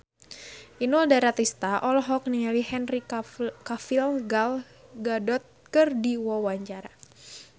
Inul Daratista olohok ningali Henry Cavill Gal Gadot keur diwawancara